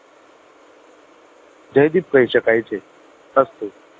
જયદીપ કહી શકાય છે અસ્તુ